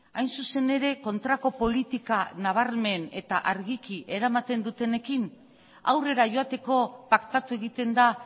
hain zuzen ere kontrako politika nabarmen eta argiki eramaten dutenekin aurrera joateko paktatu egiten da